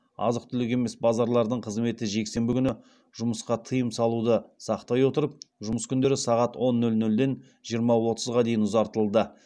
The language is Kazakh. азық түлік емес базарлардың қызметі жексенбі күні жұмысқа тыйым салуды сақтай отырып жұмыс күндері сағат он нөл нөлден жиырма отызға дейін ұзартылды